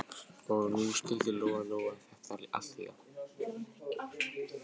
Og nú skildi Lóa-Lóa þetta allt líka.